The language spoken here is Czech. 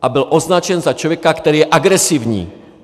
A byl označen za člověka, který je agresivní.